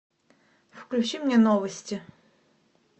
включи мне новости